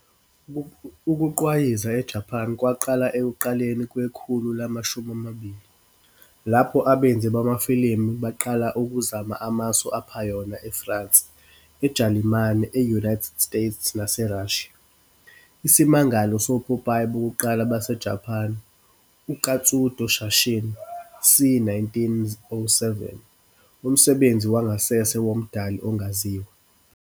Ukugqwayiza eJapan kwaqala ekuqaleni kwekhulu lama shumi amabili, lapho abenzi bamafilimu beqala ukuzama amasu aphayona eFrance, eJalimane, e-United States naseRussia. Isimangalo sopopayi bokuqala baseJapan "uKatsudo Shashin" c.1907, umsebenzi wangasese womdali ongaziwa.